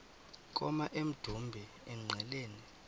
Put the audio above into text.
koma emdumbi engqeleni